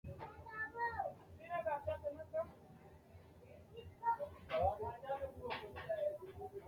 tini maa xawissanno misileeti ? mulese noori maati ? hiissinannite ise ? tini kultannori gashshaamanna gashshaanna lawanno dagunchu goga uddire nooikka insa